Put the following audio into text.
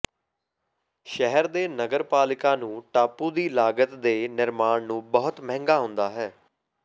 ਸ਼ਹਿਰ ਦੇ ਨਗਰਪਾਲਿਕਾ ਨੂੰ ਟਾਪੂ ਦੀ ਲਾਗਤ ਦੇ ਨਿਰਮਾਣ ਨੂੰ ਬਹੁਤ ਮਹਿੰਗਾ ਹੁੰਦਾ ਹੈ